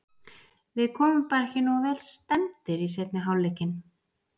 Við komum bara ekki nógu vel stemmdir í seinni hálfleikinn.